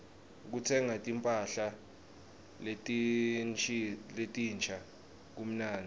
kutsenga timpahla letinsha kumnandzi